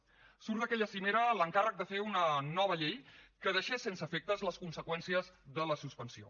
surt d’aquella cimera l’encàrrec de fer una nova llei que deixés sense efectes les conseqüències de la suspensió